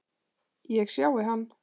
Ég sjái hann.